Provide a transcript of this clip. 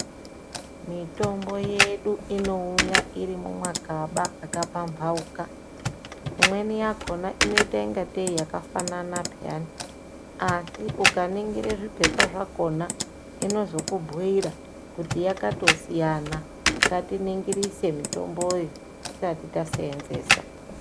Mitombo yedu inouya iri mumagaba akapambauka, imweni yakhona inoita kungatei yakafanana peyani asi unganingire zviphepha zvakhona, inozokubhuira kuti yakatosiyana, ngatiningirise mitomboyo tisati taseenzesa.